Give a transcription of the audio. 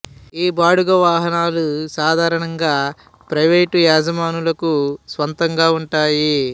ఈ బాడుగ వాహనాలు సాధారణంగా ప్రైవేట్ యజమానులకు స్వంతంగా ఉన్నాయి